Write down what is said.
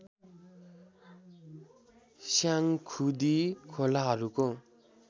Syangkhudi खोलाहरूको